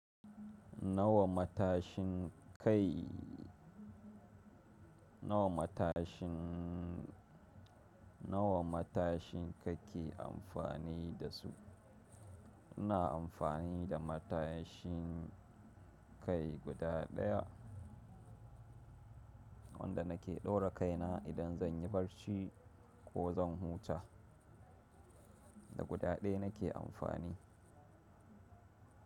Nawa matashin kai nawa matashin nawa matashin kake amfani da su? Ina amfani da matashin kai guda ɗaya wanda nake ɗaura kaina idan zan yi barci ko zan huta. Da guda ɗaya nake amfani.